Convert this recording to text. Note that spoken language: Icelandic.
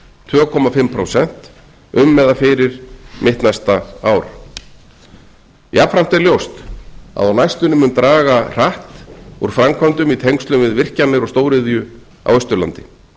tvö og hálft prósent um eða fyrir mitt næsta ár jafnframt er ljóst að á næstunni mun draga hratt úr framkvæmdum í tengslum við virkjanir og stóriðju á austurlandi